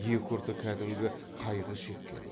екі ұрты кәдімгі қайғы шеккен